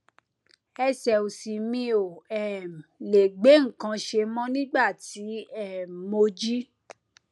ẹsẹ òsì mi ò um lè gbé nǹkan ṣe mọ nígbà tí um mo jí